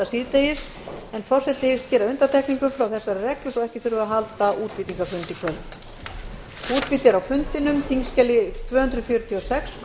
síðdegis en forseti hyggst gera undantekningu frá þessari reglu svo ekki þurfi að halda útbýtingarfund í kvöld